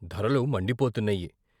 ధరలు మండి పోతున్నాయి.